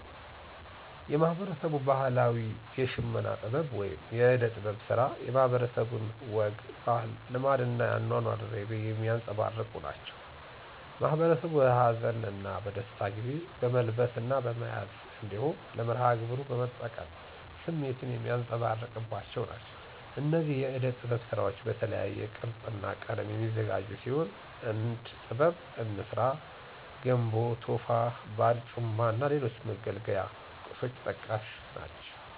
የማህበረሰቡ ባህላዊ የሽመና ጥበብ ወይም የእደ-ጥበብ ስራ የማህበረሰቡን ወግ፣ ባህል፣ ልማድ እና የአኗኗር ዘይቤ የሚያንፀባርቁ ናቸው። ማህበረሰቡ በሀዘን እና በደስታ ጊዜ በመልበስ እና በመያዝ እንዲሁም ለመርሀ ግብሩ በመጠቀም ስሜቱን የሚያንፀባርቅባቸው ናቸው። እነዚህ የእደ ጥበብ ስራዎች በተለያየ ቅርፅ እና ቀለም የሚዘጋጁ ሲሆን እንድ ጥበብ፣ እንስራ (ገንቦ፣ ቶፋ)፣ባርጩማ እና ሌሎች መገልገያ ቁሶች ተጠቃሽ ናቸው።